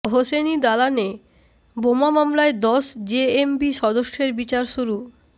হোসেনি দালানে বোমা মামলায় দশ জেএমবি সদস্যের বিচার শুরু